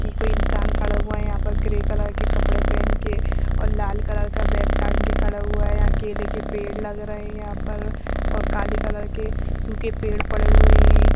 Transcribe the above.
कोई इंसान खड़ा हुआ है यहाँ पर ग्रे कलर के कपड़े पहन के और लाल कलर का बैग टांग के खड़ा हुआ है यहाँ केले के पेड़ लगे रहे हैं यहाँ पर और काले कलर के सूखे पेड़ पड़े हुए हैं।